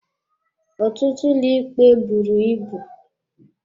Ọtụtụ ụlọikpe buru ibu.